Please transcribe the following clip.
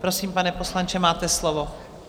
Prosím, pane poslanče, máte slovo.